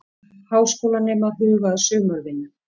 Háskólanemar huga að sumarvinnu